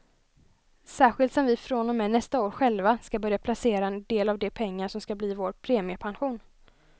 Särskilt som vi från och med nästa år själva ska börja placera en del av de pengar som ska bli vår premiepension.